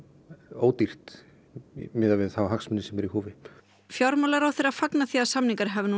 ódýrt miðað við þá hagsmuni sem eru í húfi fjármálaráðherra fagnar því að samningar hafi nú